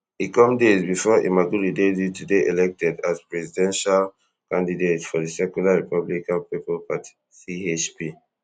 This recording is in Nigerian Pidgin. e come days bifor imamoglu dey due to dey elected as presidential candidate for di secular republican pipo party chp